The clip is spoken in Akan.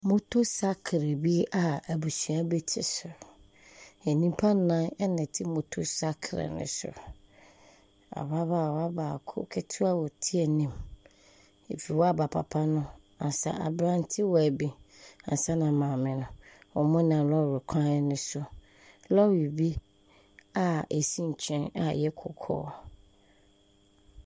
Motosaakere bi a abusua bi te so, nnipa nnan na ɛte motosaakere ne so, ababaawa baako ketewa a ɛte anim, afiri hɔ a aba papa no, ansa aberantewa bi ansana maame no. wɔnam lɔɔre kwan ne mu, lɔɔre bi a asi nkyɛn a ɛyɛ kɔkɔɔ.